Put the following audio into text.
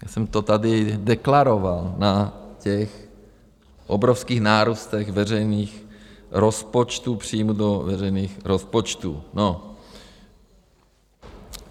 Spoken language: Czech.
Já jsem to tady deklaroval na těch obrovských nárůstech veřejných rozpočtů, příjmů do veřejných rozpočtů.